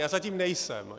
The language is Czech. Já zatím nejsem.